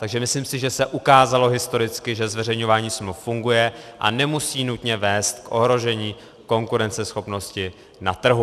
Takže myslím si, že se ukázalo historicky, že zveřejňování smluv funguje a nemusí nutně vést k ohrožení konkurenceschopnosti na trhu.